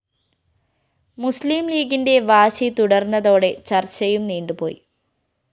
മുസ്ലീംലീഗിന്റെ വാശി തുടര്‍ന്നതോടെ ചര്‍ച്ചയും നീണ്ടുപോയി